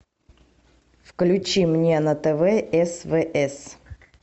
включи мне на тв свс